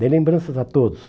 Dê lembranças a todos.